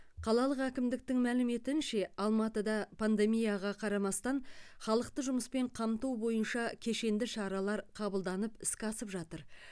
қалалық әкімдіктің мәліметінше алматыда пандемияға қарамастан халықты жұмыспен қамту бойынша кешенді шаралар қабылданып іске асып жатыр